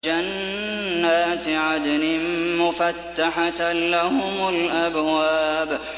جَنَّاتِ عَدْنٍ مُّفَتَّحَةً لَّهُمُ الْأَبْوَابُ